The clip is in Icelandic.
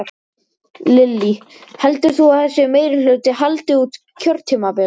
Lillý: Heldur þú að þessi meirihluti haldi út kjörtímabilið?